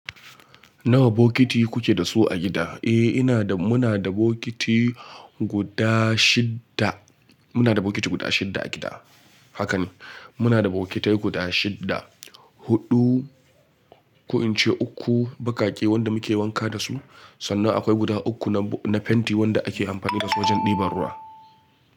Nawa bokiti kuke da su a gida? Eh, muna da bokiti guda shidda a gida. Haka ne, muna da bokitai guda shidda. Hudu, ko in ce uku, bakake wanda muke wanka da su, sannan akwai guda uku na fenti wanda ake amfani da su wajen ɗiban ruwa.